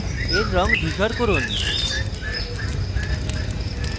এর রঙ ধূসর করুন